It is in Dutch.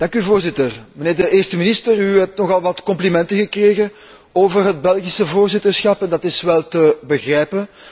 Voorzitter, mijnheer de Eerste Minister, u hebt nogal wat complimenten gekregen over het Belgisch voorzitterschap en dat is wel te begrijpen.